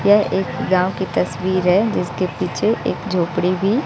यह एक गांव की तस्वीर हैं जिसके पीछे एक झोपड़ी भी--